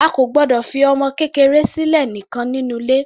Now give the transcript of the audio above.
A kò gbọdọ̀ fi ọmọ kékeré sílẹ̀ nìkan nínú ilé.